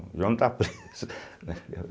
O João tá preso né.